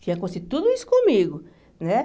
Tinha que acontecer tudo isso comigo, né?